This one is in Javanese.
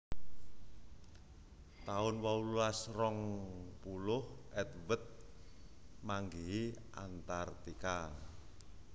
taun wolulas rong puluh Edward manggihi Antartika